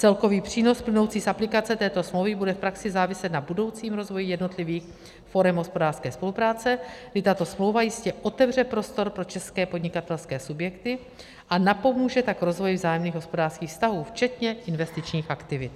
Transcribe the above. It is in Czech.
Celkový přínos plynoucí z aplikace této smlouvy bude v praxi záviset na budoucím rozvoji jednotlivých forem hospodářské spolupráce, kdy tato smlouva jistě otevře prostor pro české podnikatelské subjekty, a napomůže tak rozvoji vzájemných hospodářských vztahů včetně investičních aktivit.